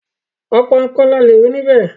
ọ̀pọ̀ nǹkan ni a lè rí níbẹ̀.